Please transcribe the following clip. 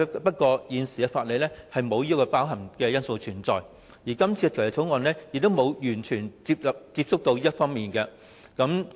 不過，現行法例並無包含這些因素，而這項《條例草案》也沒有觸及這些方面。